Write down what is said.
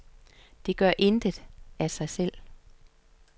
De gør intet af sig selv.